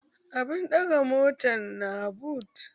Abun ɗagan motan na but